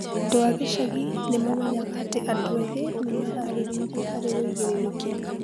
Andũ a gĩcagi nĩ maamenyaga atĩ andũ ethĩ nĩ meeharĩirie harĩ wĩigĩrĩrĩki.